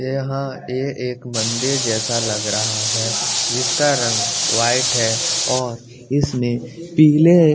यहाँ ए एक मंदिर जैसा लग रहा है जिसका रंग वाइट है और इसमें पीले --